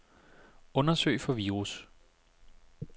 Undersøg for virus.